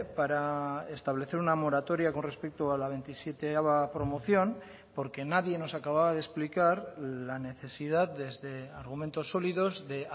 para establecer una moratoria con respecto a la veintisiete promoción porque nadie nos acababa de explicar la necesidad desde argumentos sólidos de